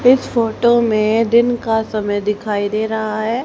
इस फोटो में दिन का समय दिखाई दे रहा है।